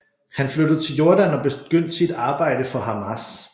Han flyttede til Jordan og begyndte sit arbejde for Hamas